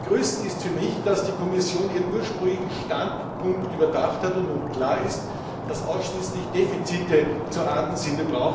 Zu begrüßen ist für mich, dass die Kommission ihren ursprünglichen Standpunkt überdacht hat und nun klar ist, dass ausschließlich Defizite zu ahnden sind.